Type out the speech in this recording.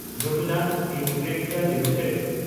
Jubilant Ingrevia limited